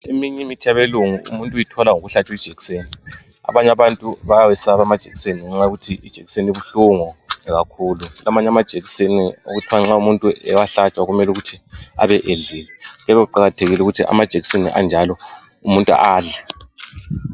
Eminye imithi yabelungu umuntu uyithola ngokuhlatshwa ijekiseni. Abanye abantu bayawesaba amajekiseni. Ngenxa yokuthi ijekiseni ibuhlungu kakhulu. Kulamanye amajekiseni okuthiwa nxa umuntu ewahlatshwa kumele ukuthi abe edlile. Kuyabe kuqakathekile ukuthi amajekiseni enjalo umuntu adle.